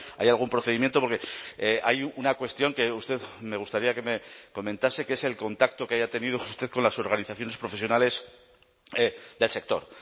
hay algún procedimiento porque hay una cuestión que usted me gustaría que me comentase que es el contacto que haya tenido usted con las organizaciones profesionales del sector